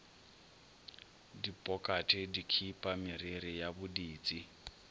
dipokate dikhipa meriri ya boditsi